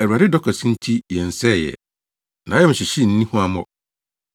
Awurade dɔ kɛse nti yɛnsɛee ɛ. Nʼayamhyehye nni huammɔ.